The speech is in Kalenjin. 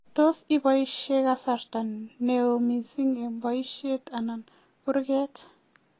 tos ibaishe kasarta neo mising eng boishet anan kurgat